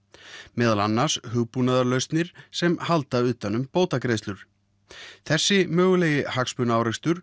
meðal annars hugbúnaðarlausnir sem halda utan um bótagreiðslur þessi mögulegi hagsmunaárekstur